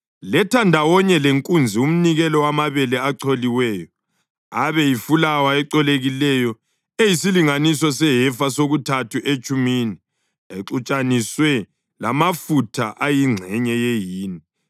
letha ndawonye lenkunzi umnikelo wamabele acholiweyo aba yifulawa ecolekileyo eyisilinganiso sehefa sokuthathu etshumini exutshaniswe lamafutha ayingxenye yehini.